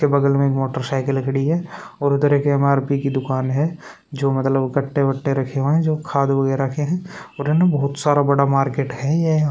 इसके बगल में मोटरसाइकिल खड़ी है और उधर एक एम.आर.पी. की दुकान है जो मतलब कट्टे वट्टे रखे हुए हैं जो खाद वगैरा के है उधर में बहुत सारा बड़ा मार्केट है यह --